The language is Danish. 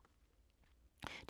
DR2